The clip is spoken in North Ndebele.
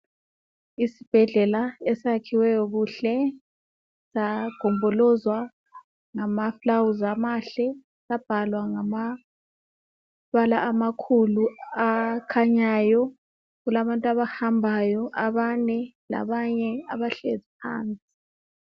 Isibhedlela esiyakhiweyo kuhle sagombolozwa ngamafulawuzi amahle sabhalwa ngamabala amakhulu akhanyayo. Kulabantu abahambayo abane labanye abahlezi phansi.